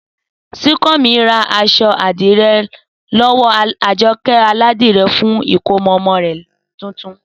Súnkànmí ra aṣọ àdìrẹ lọ́wọ́ Àjọkẹ́ aládìrẹ fún ìkómọ ọmọ rẹ̀ tuntun